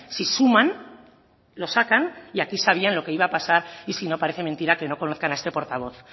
si suman lo sacan y aquí sabían lo que iba a pasar y si no parece mentira que no conozcan a este portavoz